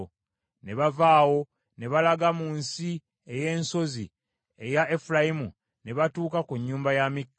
Ne bava awo ne balaga mu nsi ey’ensozi eya Efulayimu ne batuuka ku nnyumba ya Mikka.